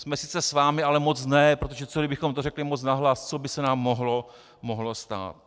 Jsme sice s vámi, ale moc ne, protože co kdybychom to řekli moc nahlas, co by se nám mohlo stát.